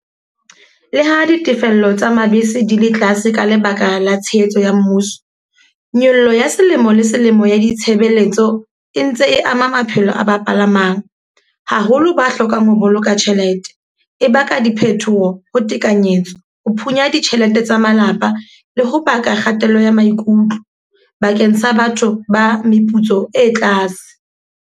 Le ha ditefello tsa mabese di le tlase ka lebaka la tshehetso ya mmuso. Nyollo ya selemo le selemo ya ditshebeletso e ntse e ama maphelo a ba palamang. Haholo ba hlokang ho boloka tjhelete. E baka diphethoho ho tekanyetso, ho phunya ditjhelete tsa malapa le ho baka kgatello ya maikutlo bakeng sa batho ba meputso e tlase.